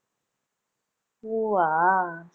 பூவா